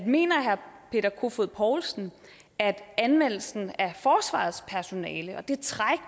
mener herre peter kofod poulsen at anvendelsen af forsvarets personale og det træk